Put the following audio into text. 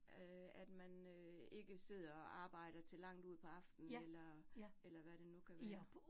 Øh at man øh ikke sidder og arbejder til langt ud på aftenen eller eller hvad det nu kan være